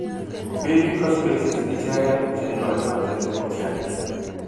Biik ko species icheken chekoitoote kutyani